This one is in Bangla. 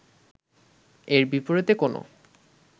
এর বিপরীতে কোনো